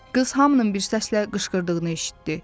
Qız hamının bir səslə qışqırdığını eşitdi.